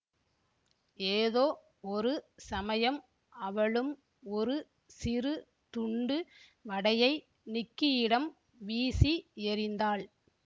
ஏதோ ஒரு சமயம் அவளும் ஒரு சிறு துண்டு வடையை நிக்கியிடம் வீசி எறிந்தாள்